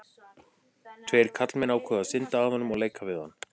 Tveir karlmenn ákváðu að synda að honum og leika við hann.